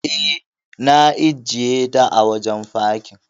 E, na ajiyeta a wajen fakin.